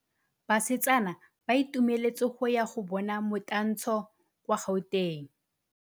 Basetsana ba itumeletse go ya go bona motantshô kwa Gauteng.